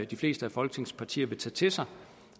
de fleste af folketingets partier vil tage til sig